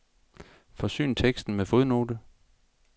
Forsyn teksten med fodnote.